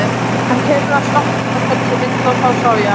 Hann keyrði að sjoppu til að kaupa sér vindla og þá sá ég hana.